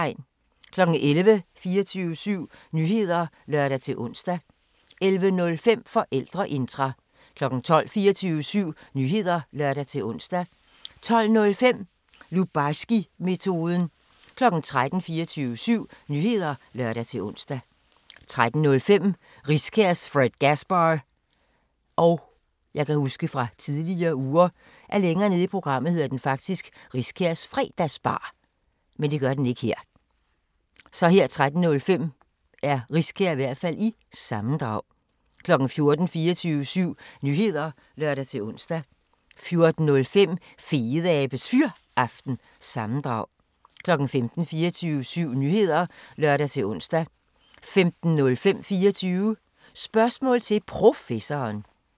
11:00: 24syv Nyheder (lør-ons) 11:05: Forældreintra 12:00: 24syv Nyheder (lør-ons) 12:05: Lubarskimetoden 13:00: 24syv Nyheder (lør-ons) 13:05: Riskærs Fredgasbar- sammendrag 14:00: 24syv Nyheder (lør-ons) 14:05: Fedeabes Fyraften – sammendrag 15:00: 24syv Nyheder (lør-ons) 15:05: 24 Spørgsmål til Professoren